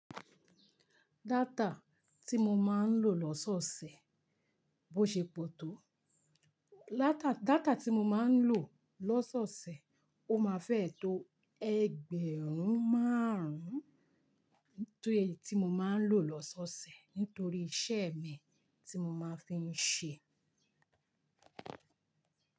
Data tí mo máa ń lò lọ́sọ̀ ọ̀sẹ̀, bó ṣe pọ̀ tó, data tí mo máa ń lò lọ́sọ̀ọ̀sẹ̀, ó máa fẹ́ẹ́ tó ẹgbẹ̀rún márùn-ún, tí mo máa ń lò lọ́sọ̀ọ̀sẹ̀ nítorí iṣẹ́ mi tí mo máa ń fi ń ṣe.